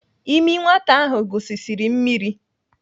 Ịmị nwata ahụ gusisiri mmiri.